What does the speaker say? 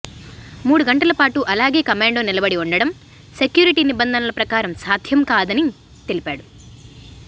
మూడు గంటల పాటు అలాగే కమాండో నిలబడి ఉండడం సెక్యూరిటీ నిబంధనల ప్రకారం సాధ్యం కాదని తెలిపాడు